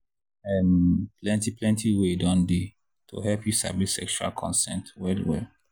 um plenty plenty way don dey to help you sabi sexual consent well well.